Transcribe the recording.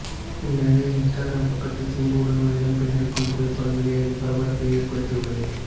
இந்த நிலையில் இன்ஸ்டாகிராம் பக்கத்தில் சிம்புவுடன் ஒரு இளம்பெண் இருக்கும் புகைப்படம் வெளியாகி பரபரப்பை ஏற்படுத்தி உள்ளது